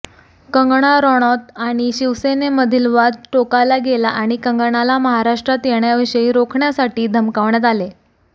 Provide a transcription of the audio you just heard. कंगना राणौत आणि शिवसेनेमधील वाद टोकाला गेला आणि कंगनाला महाराष्ट्रात येण्याविषयी रोखण्यासाठी धमकावण्यात आले